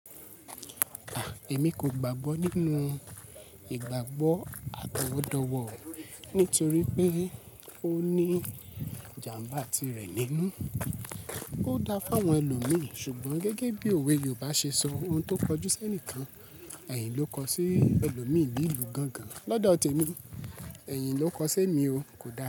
À, èmi kò gbàgbọ́ nínú ìgbàgbọ́ àtọwọ́dọ̀wọ̀ nítorí pé ó ní ìjàǹbá ti rẹ̀ nínú. Ó dáa fún àwọn ẹlòmí ṣùgbọ́n gẹ́gẹ́ bí òwe Yorùbá ṣe sọ, ohun tó kọjú sẹ́ẹ̀níkàn, ẹ̀hìn ló ko sí. Ẹlòmí bi lu gangan. Lọ́dọ̀ te mi, ẹ̀yin ló ko sí emi o. Kò dáa.